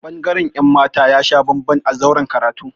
Ɓangaren ‘yan mata ya sha bamban a zauren karatu.